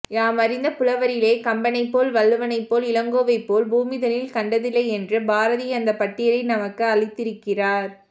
யாமறிந்த புலவரிலே கம்பனைப்போல் வள்ளுவன் போல் இளங்கோவைப்போல் பூமிதனில் கண்டதில்லை என்று பாரதி அந்த பட்டியலை நமக்கு அளித்திருக்கிறார்